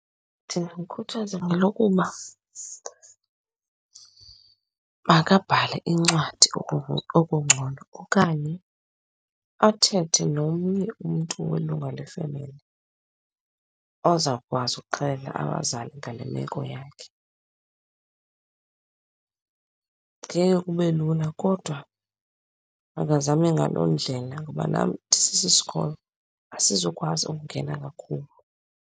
Ndingamkhuthaza ngelokuba makabhale incwadi okungcono okanye athethe nomnye umntu welunga lefemeli, ozawukwazi ukuxelela abazali ngale meko yakhe. Ngeke kube lula kodwa makazame ngaloo ndlela ngoba nam ndisisisikolo, asizukwazi ukungena kakhulu.